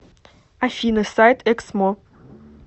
афина сайт эксмо